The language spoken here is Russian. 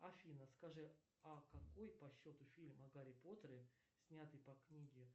афина скажи а какой по счету фильм о гарри поттере снятый по книге